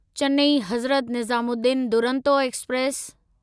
Chennai Hazrat Nizamuddin Duronto express